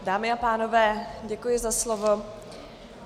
Dámy a pánové, děkuji za slovo.